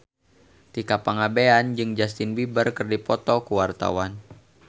Tika Pangabean jeung Justin Beiber keur dipoto ku wartawan